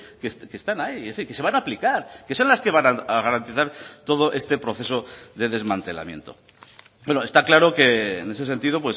que están ahí que se van a aplicar que son las que van a garantizar todo este proceso de desmantelamiento está claro que en ese sentido